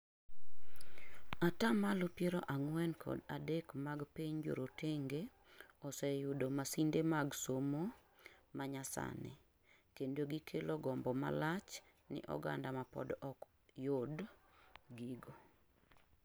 ata malo piero ang'wen kod adek mag piny jorotenge osee yudo masinde mag somo manyasani, kendo gikelo gombo malach ni oganda mapod ok yud gigo